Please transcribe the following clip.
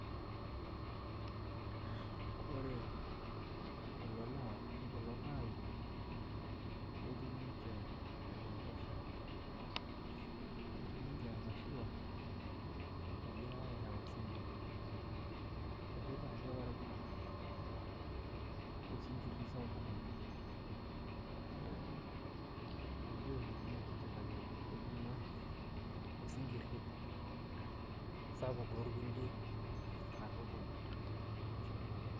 ore kulo naa ashu kulo parakuo netii ninche enaiposha. etii ninche emashua egirae aitau isinkir. etii pae ele parakuoi oibunga osinkiri sapuk oleng neeku, elio ninye enchipai amu imbung'a osinkiri apuk too nkulie katukul